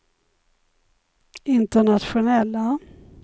internationella